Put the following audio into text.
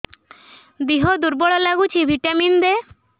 ଦିହ ଦୁର୍ବଳ ଲାଗୁଛି ଭିଟାମିନ ଦେ